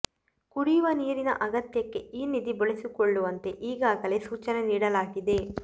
ಕುಡಿಯುವ ನೀರಿನ ಅಗತ್ಯಕ್ಕೆ ಈ ನಿಧಿ ಬಳಸಿಕೊಳ್ಳುವಂತೆ ಈಗಾಗಲೇ ಸೂಚನೆ ನೀಡಲಾಗಿದೆ